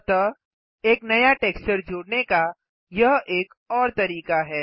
अतः एक नया टेक्सचर जोड़ने का यह एक और तरीका है